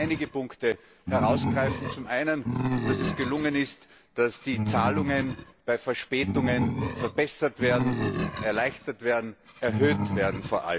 Ich möchte nur einige Punkte herausgreifen zum einen, dass es gelungen ist durchzusetzen, dass die Zahlungen bei Verspätungen verbessert werden, erleichtert werden, vor allem erhöht werden